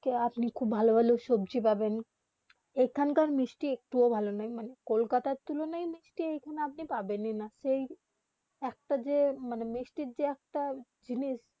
কি আপনি খুব ভালো ভালো সবজি পাবেন এখান কার মিষ্টি একটু ভালো নয় মানে কলকাতা তুলুন মিক্সটি আপনি এখানে পাবেন না সেই একটা যে মিষ্টি যে একটা জিনিস